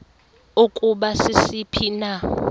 ukuba sisiphi na